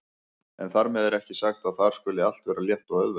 En þar með er ekki sagt að þar skuli allt vera létt og auðvelt.